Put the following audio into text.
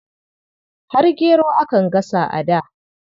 Har gero akan gasa a da.